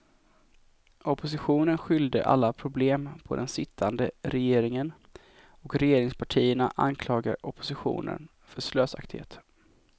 Oppositionen skyllde alla problem på den sittande regeringen och regeringspartierna anklagade oppositionen för slösaktighet.